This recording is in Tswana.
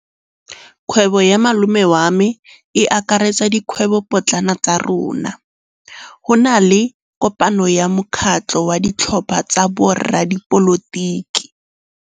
Kgwêbô ya malome wa me e akaretsa dikgwêbôpotlana tsa rona. Go na le kopanô ya mokgatlhô wa ditlhopha tsa boradipolotiki.